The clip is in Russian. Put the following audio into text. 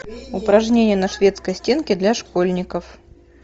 упражнения на шведской стенке для школьников